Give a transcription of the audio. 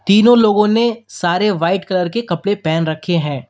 तीनों लोगों ने सारे व्हाइट कलर के कपड़े पहन रखे हैं।